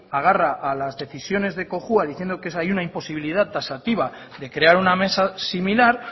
agarra a las decisiones de cojua diciendo que hay una imposibilidad taxativa de crear una mesa similar